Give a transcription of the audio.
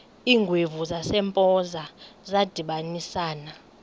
iingwevu zasempoza zadibanisana